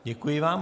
Děkuji vám.